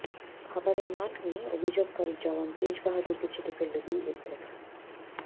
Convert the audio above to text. খাবারের মান নিয়ে অভিযোগকারী জওয়ান তেজ বাহাদুরকে ছেঁটে ফেলল বিএসএফ